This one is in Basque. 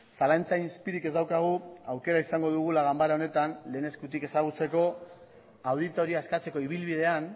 zalantza izpirik ez daukagu aukera izango dugula ganbara honetan lehen eskutik ezagutzeko auditoria eskatzeko ibilbidean